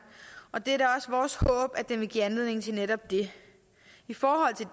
og det er da også vores håb at den vil give anledning til netop det i forhold til